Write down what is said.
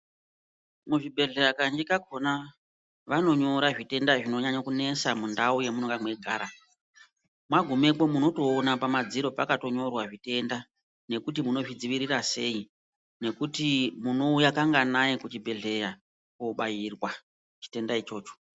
Muzvibhedhleya kazhinji kakhona vanonyora zvitenda zvinonyanya kunesa mundau yamunonga mweigara. Mwagumepo muunotoona pamadziro pakatonyorwa zvitenda ,nekuti munozvidziirira sei, nekuti munouya kanganai kuchibhedhleya kobairwa, chitenda ichocho.